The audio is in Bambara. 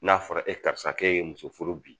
N'a fɔra e karisa k'e ye muso furu bi